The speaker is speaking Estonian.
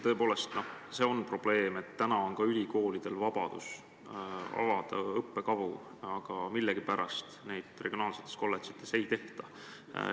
Tõepoolest, see on probleem, et ülikoolidel on vabadus avada õppekavu, aga millegipärast neid regionaalsetes kolledžites ei avata.